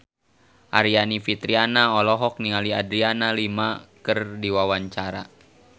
Aryani Fitriana olohok ningali Adriana Lima keur diwawancara